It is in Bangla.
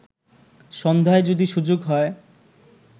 সন্ধ্যায় যদি সুযোগ হয়